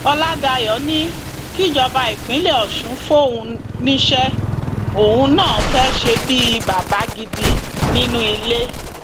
ọlàdáyọ ni kíjọba ìpínlẹ ọṣun fóun níṣẹ òun náà fẹẹ ṣe bíi bàbá gidi nínú ilé